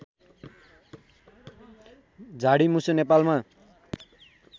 झाडी मुसो नेपालमा